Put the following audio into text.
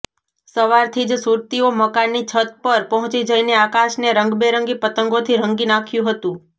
સવારથી જ સુરતીઓ મકાનની છત પર પહોંચી જઈને આકાશને રંગબેરંગી પતંગોથી રંગી નાખ્યું હતું